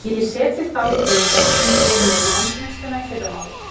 Ég set þau þá í hrúguna sem ég fer með í endurvinnsluna í fyrramálið.